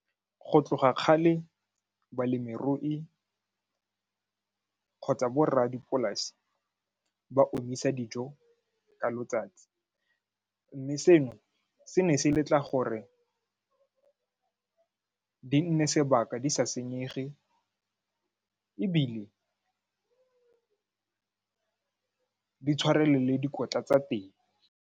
Go tloga kgale balemirui kgotsa borradipolasi ba omisa dijo ka letsatsi mme seno se ne se letla gore di nne sebaka di sa senyege ebile di tshwarelele dikotla tsa teng.